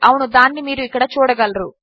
అవును దానినిమీరుఇక్కడచూడగలరు